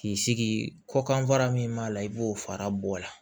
K'i sigi kɔ kan fara min b'a la i b'o fara bɔ a la